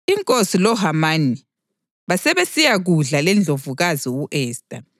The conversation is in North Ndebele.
Inkosi loHamani basebesiyakudla leNdlovukazi u-Esta,